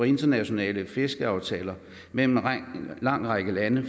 internationale fiskeriaftaler mellem en lang række lande